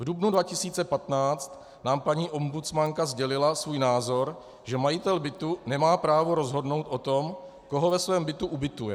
V dubnu 2015 nám paní ombudsmanka sdělila svůj názor, že majitel bytu nemá právo rozhodnout o tom, koho ve svém bytě ubytuje.